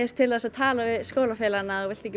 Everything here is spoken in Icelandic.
til að tala við skólafélagana ef þú vilt ekki